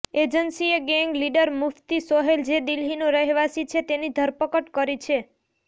એજન્સીએ gang leader Mufti Sohail જે દિલ્હીનો રહેવાસી છે તેની ધરપકડ કરી છે